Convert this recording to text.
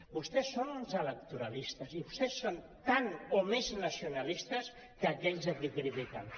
vostès són uns electoralistes i vostès són tant o més nacionalistes que aquells a qui critiquen